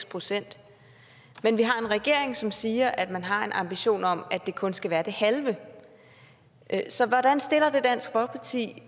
procent men vi har en regering som siger at man har en ambition om at det kun skal være det halve så hvordan stiller det dansk folkeparti